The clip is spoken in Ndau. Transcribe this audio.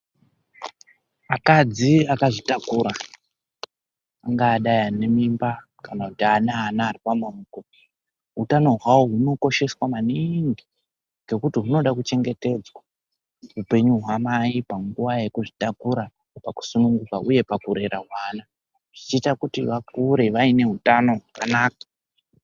Akadzi akazvitakura angadai ane mimba kana ane ana ari pamaoko. Hutano hwawo hunokosheswa maningi ngekuti hunoda kuchengetedzwa upenyu hwamai panguwa yekuzvitakura, pakusununguka uye pakurera vana zvichiita kuti vakure vaine utano hwakanaka.